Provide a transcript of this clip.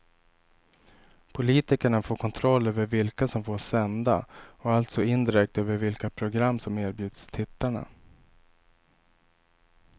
Politikerna får kontroll över vilka som får sända och alltså indirekt över vilka program som erbjuds tittarna.